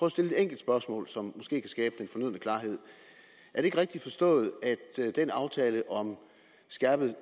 at stille et enkelt spørgsmål som måske kan skabe den fornødne klarhed er det ikke rigtigt forstået at den aftale om skærpet